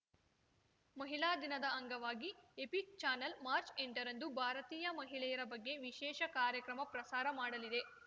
ಮಹಿಳಾ ದಿನದ ಅಂಗವಾಗಿ ಎಪಿಕ್ ಚಾನೆಲ್ ಮಾರ್ಚ್ ಎಂಟರಂದು ಭಾರತೀಯ ಮಹಿಳೆಯರ ಬಗ್ಗೆ ವಿಶೇಷ ಕಾರ್ಯಕ್ರಮ ಪ್ರಸಾರ ಮಾಡಲಿದೆ